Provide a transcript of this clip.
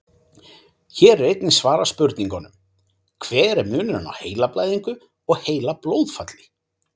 Hér er einnig svarað spurningunum: Hver er munurinn á heilablæðingu og heilablóðfalli?